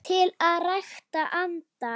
til að rækta andann